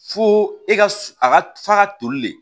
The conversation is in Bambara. Fo e ka su a ka f'a ka toli de